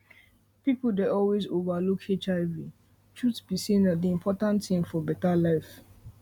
people dey always over look hivtruth be say na d important thing for better life